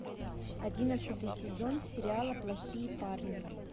одиннадцатый сезон сериала плохие парни